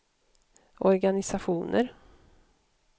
organisationer